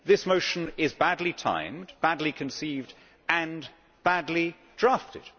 This motion is badly timed, badly conceived, and badly drafted.